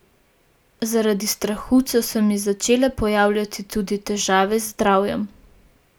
Zaradi strahu so se mi začele pojavljati tudi težave z zdravjem.